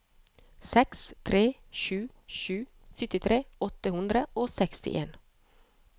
seks tre sju sju syttitre åtte hundre og sekstien